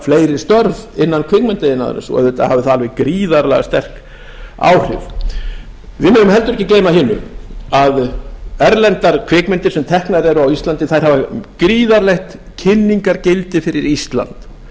fleiri störf innan kvikmyndaiðnaðarins og auðvitað hafði það alveg gríðarlega sterk áhrif við megum heldur ekki gleyma hinu að erlendar kvikmyndir sem teknar eru á íslandi hafa gríðarlegt kynningargildi fyrir ísland það